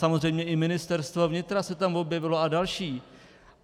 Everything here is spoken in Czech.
Samozřejmě i Ministerstvo vnitra se tam objevilo a další.